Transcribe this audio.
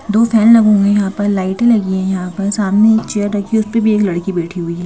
दो फैन लगे हुए हैं यहां पर लाइटें लगी हैं यहाँ पर सामने एक चेयर रखी है उस पे भी एक लड़की बैठी हुई है।